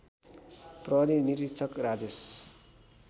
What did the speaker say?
प्रहरी निरीक्षक राजेश